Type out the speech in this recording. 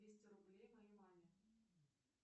двести рублей моей маме